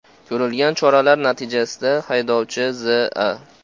Ko‘rilgan choralar natijasida haydovchi Z.A.